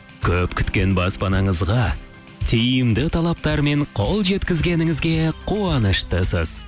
көп күткен баспанаңызға тиімді талаптармен қол жеткізгеніңізге қуаныштысыз